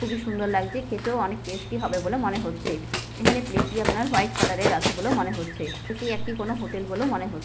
খুবই সুন্দর লাগছে খেতেও অনেক টেস্টি হবে বলে মনে হচ্ছে। এখানে প্লেট টি আপনার হোয়াইট কালার এর আছে বলে মনে হচ্ছে। এটি একটি কোনো হোটেল বলেও মনে হচ--